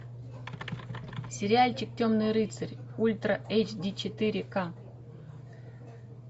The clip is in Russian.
сериальчик темный рыцарь ультра эйч ди четыре ка